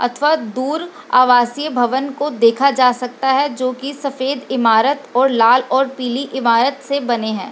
अथवा दूर अवासी भवन को देखा जा सकता है। जो की सफ़ेद ईमारत और लाल और पिली ईमारत से बने है।